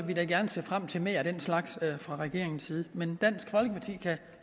vi da gerne se frem til mere af den slags fra regeringens side men dansk folkeparti kan